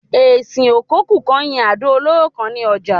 Esin ò kokú kan yín àdò olóró kan ni ojà